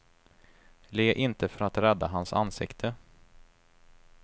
Le inte för att rädda hans ansikte.